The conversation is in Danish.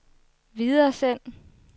videresend